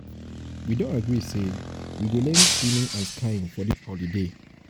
we don agree say we um go learn swimming and skiing for dis holiday. for dis holiday.